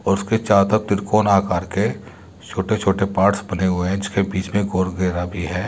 उसके चारो तरफ तिरकोना आकार के छोटे छोटे पार्ट्स बने हुये है जिसके बीच में गोल घेरा भी है।